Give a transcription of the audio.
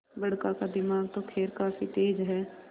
बड़का का दिमाग तो खैर काफी तेज है